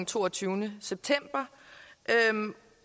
toogtyvende september